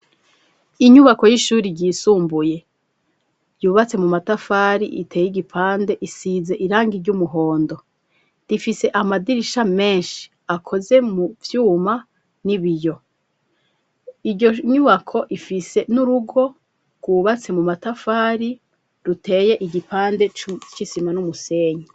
Inyubako y'ishuri ryisumbuye yubatse mu matafari iteye igipande isize irangi ry'umuhondo rifise amadirisha menshi akoze mu vyuma n'ibiyo iryo nyubako ifise n'urugo ryubatse mu matafari riteye igipande c'isima n'umusenyi.